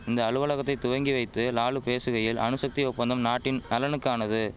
இந்த அலுவலகத்தை துவங்கி வைத்து லாலு பேசுகையில் அணுசக்தி ஒப்பந்தம் நாட்டின் நலனுக்கானது